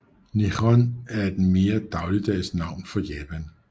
Nihon er det mere dagligdags navn for Japan